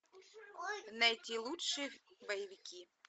найти лучшие боевики